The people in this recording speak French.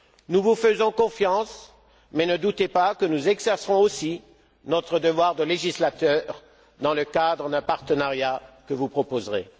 Nous vous faisons confiance, mais ne doutez pas que nous exercerons aussi notre devoir de législateur dans le cadre d'un partenariat que vous proposerez.